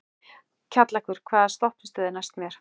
Kjallakur, hvaða stoppistöð er næst mér?